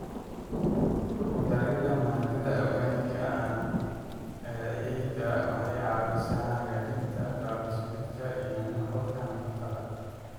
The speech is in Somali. Ku darida maadada organic-ga ah ee ciidda waxay caawisaa hagaajinta qaab-dhismeedkeeda iyo nuxurka nafaqada.